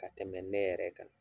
Ka tɛmɛ ne yɛrɛ kan